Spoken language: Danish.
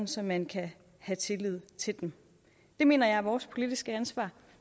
så man kan have tillid til dem det mener jeg er vores politiske ansvar